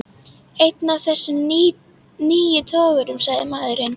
Einn af þessum nýju togurum, sagði maðurinn.